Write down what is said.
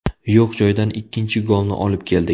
Yo‘q joydan ikkinchi golni olib keldik.